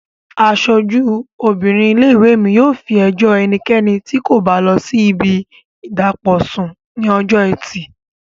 Aṣojú obìnrin ilé-ìwé mi yóò fi ẹjọ́ ẹnikẹ́ni tí kò bá lọ sí ibi ìdàpọ̀ sùn ní ọjọ́ ẹtì